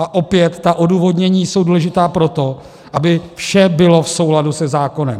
A opět, ta odůvodnění jsou důležitá proto, aby vše bylo v souladu se zákonem.